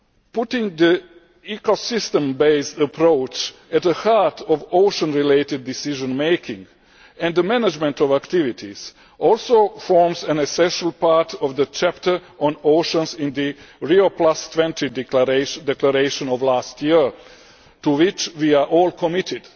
Putting the ecosystem based approach at the heart of ocean related decision making and the management of activities also forms an essential part of the chapter on oceans in the Rio20 declaration of last year, to which we are all committed.